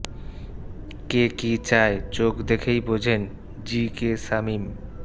কে কী চায় চোখ দেখেই বোঝেন জি কে শামীম